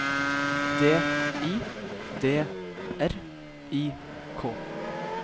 D I D R I K